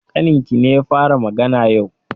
Ƙaninkine ya fara magana yau?